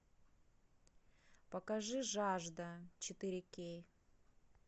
покажи жажда четыре кей